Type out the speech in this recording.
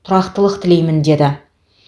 тұрақтылық тілеймін деді